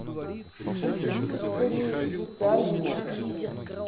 викторе витальевиче